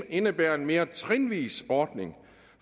indebærer en mere trinvis ordning